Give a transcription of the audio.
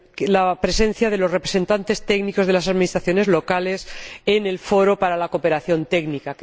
la presencia de los representantes técnicos de las administraciones locales en el foro para la cooperación técnica.